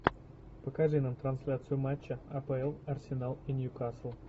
покажи нам трансляцию матча апл арсенал и ньюкасл